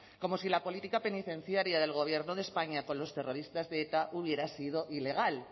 como si la política penitenciaria del gobierno de españa con los terroristas de eta hubiera sido ilegal